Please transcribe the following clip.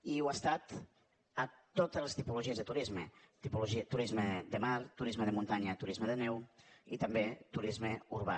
i ho ha estat a totes les tipologies de turisme turisme de mar turisme de muntanya turisme de neu i també turisme urbà